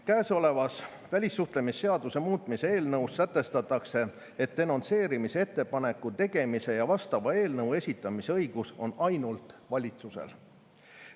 Käesolevas välissuhtlemisseaduse muutmise eelnõus sätestatakse, et denonsseerimise ettepaneku tegemise ja vastava eelnõu esitamise õigus on ainult valitsusel.